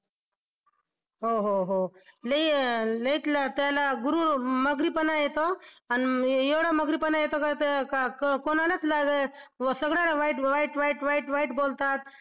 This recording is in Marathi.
हो हो हो लई लईच त्याला मग्रीपणा येतो आणि एवढा मग्रीपणा येतो का ते कोणालाच सगळ्यांना वाईट वाईट वाईट बोलतात.